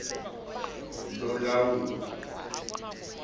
lolawulo